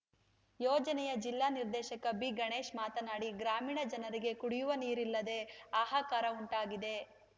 ಯೋಜನೆಯ ಜಿಲ್ಲಾ ನಿರ್ದೇಶಕ ಬಿಗಣೇಶ್‌ ಮಾತನಾಡಿ ಗ್ರಾಮೀಣ ಜನರಿಗೆ ಕುಡಿಯುವ ನೀರಿಲ್ಲದೆ ಹಾಹಾಕಾರ ಉಂಟಾಗಿದೆ